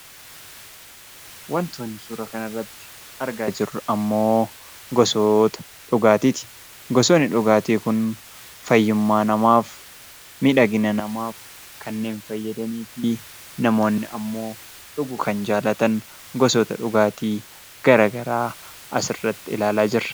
Wantoonni suuraa kanarratti argaa jirru ammoo gosoota dhugaatiiti. Gosoonni dhugaatii kun fayyummaa namaaf miidhagina namaaf kannneen fayyadanii fi namoonni ammoo dhuguu kan jaallatan gosoota dhugaatii garaagaraa asirratti ilaalaa jirra.